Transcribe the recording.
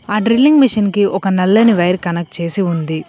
ఆ drilling machine కి ఒక నల్లని వైర్ కనెక్ట్ చేసి ఉంది.